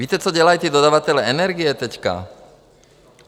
Víte, co dělají ti dodavatelé energie teď?